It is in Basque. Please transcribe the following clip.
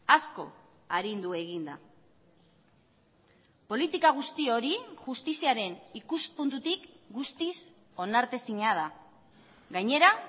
asko arindu egin da politika guzti hori justiziaren ikuspuntutik guztiz onartezina da gainera